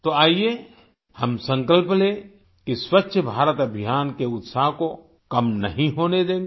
तो आइये हम संकल्प लें कि स्वच्छ भारत अभियान के उत्साह को कम नहीं होने देंगे